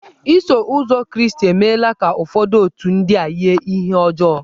Iso ụzọ Kraịstị emela ka ụfọdụ otù ndị a yie ihe ọjọọ.